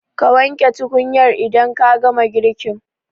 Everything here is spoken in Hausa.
Ka wanke tukunyar idan ka gama girkin.